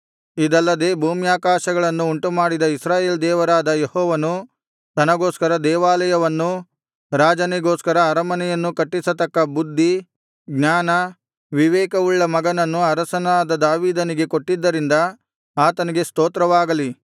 ಇದಲ್ಲದೆ ಭೂಮ್ಯಾಕಾಶಗಳನ್ನು ಉಂಟುಮಾಡಿದ ಇಸ್ರಾಯೇಲ್ ದೇವರಾದ ಯೆಹೋವನು ತನಗೋಸ್ಕರ ದೇವಾಲಯವನ್ನೂ ರಾಜನಿಗೋಸ್ಕರ ಅರಮನೆಯನ್ನೂ ಕಟ್ಟಿಸತಕ್ಕ ಬುದ್ಧಿ ಜ್ಞಾನ ವಿವೇಕವುಳ್ಳ ಮಗನನ್ನು ಅರಸನಾದ ದಾವೀದನಿಗೆ ಕೊಟ್ಟಿದ್ದರಿಂದ ಆತನಿಗೆ ಸ್ತೋತ್ರವಾಗಲಿ